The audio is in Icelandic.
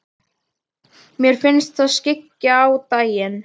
Mér finnst það skyggja á daginn.